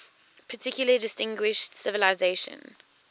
particularly distinguished civilization